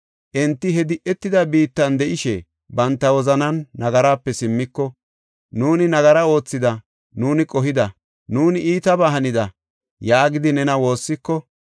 enti he di7etida biittan de7ishe banta wozanan nagarape simmiko, ‘Nuuni nagara oothida; nuuni qohida; nuuni iitabaa hanida’ yaagidi nena woossiko,